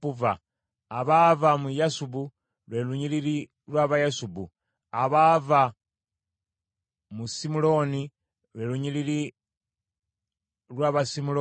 abaava mu Yasubu, lwe lunyiriri lw’Abayasubu; abaava mu Simuloni, lwe lunyiriri lw’Abasimuloni